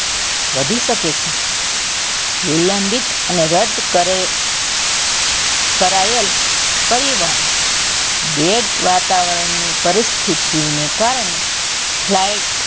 વધી શકે છે વિલંબિત અને રદ કરે કરાયેલ પરિવહન bad વાતાવરણની પરસ્થિતિ ને કારણે લાઈટ,